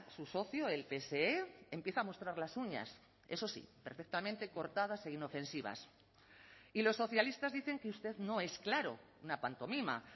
su socio el pse empieza a mostrar las uñas eso sí perfectamente cortadas e inofensivas y los socialistas dicen que usted no es claro una pantomima